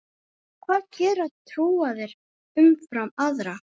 Hvað gera trúaðir umfram aðra?